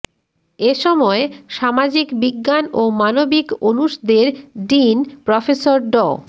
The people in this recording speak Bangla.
এসময় সামাজিক বিজ্ঞান ও মানবিক অনুষদের ডিন প্রফেসর ড